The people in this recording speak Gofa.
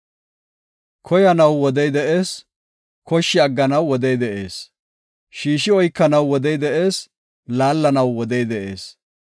Koyanaw wodey de7ees; koshshi agganaw wodey de7ees. Shiishi oykanaw wodey de7ees; laallanaw wodey de7ees.